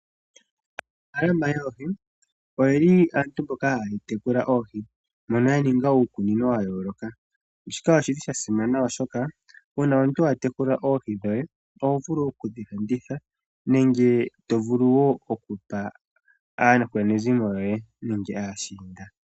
Aanafaalama yoohi oyeli aantu mboka haya tekula oohi, yo yena ngaa uukunino wa yooloka. Shika oshili sha simana, oshoka uuna omuntu wa tekula oohi dhoye oho vulu okudhi landitha nenge tovulu woo oku pa aakwanezimo yoye nenge aashiinda.